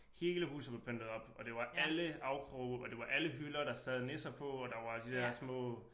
Hele huset var pyntet op og det var alle afkroge og det var alle hylder der sad nisser på og der var de der små